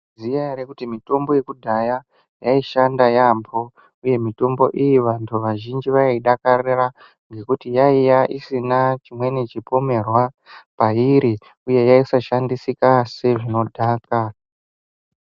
Munoziya ere kuti mitombo yekudhaya yaishanda yambo uye mitombo iyi vantu vazhinji vaiyidakarira ngekuti yaiya isina chimweni chipomerwa pairi uye yaisashandisika sezvinodhaka.